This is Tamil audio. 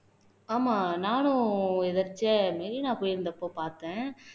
ஆமா நானும் எதேச்சையா மெரினா போயிருந்தப்போ பார்த்தேன்